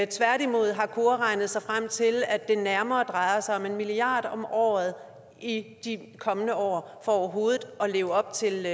tværtimod har kora regnet sig frem til at det nærmere drejer sig om en milliard kroner om året i de kommende år for overhovedet at leve op til